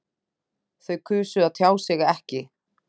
Þau kusu að tjá sig ekki